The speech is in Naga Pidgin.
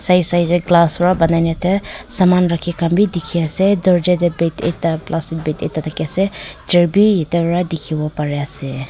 Side side dae glass pra banaina ase saman rakhi khan bhi dekhe ase dowarja dae bag ekta plastic bag ekta thakey ase chair bhi ete para dekhivo pare ase.